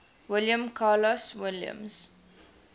william carlos williams